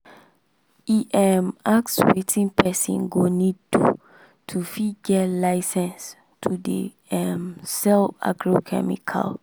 e um ask wetin person go need do to fit get license to dey um sell agrochemical.